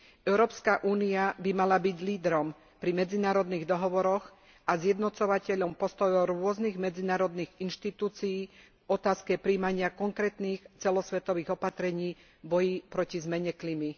Európska únia by mala byť lídrom pri medzinárodných dohovoroch a zjednocovateľom postojov rôznych medzinárodných inštitúcií v otázke prijímania konkrétnych celosvetových opatrení v boji proti zmene klímy.